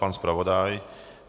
Pan zpravodaj?